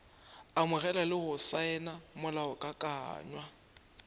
amogela le go saena molaokakanywa